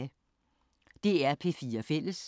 DR P4 Fælles